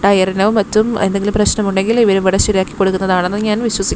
ടയറിനും മറ്റും എന്തെങ്കിലും പ്രശ്നമുണ്ടെങ്കിൽ ഇവിടെ ശരിയാക്കി കൊടുക്കുന്നതാണെന്ന് ഞാൻ വിശ്വസി--